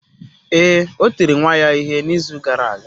Ee, o tiri nwa ya ihe n’izu gara aga.